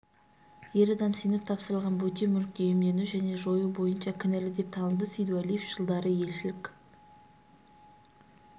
ер адам сеніп тапсырылған бөтен мүлікті иемдену және жою бойынша кінәлі деп танылды сейдуәлиев жылдары елшілік